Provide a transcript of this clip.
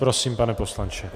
Prosím, pane poslanče.